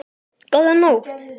Góða nótt!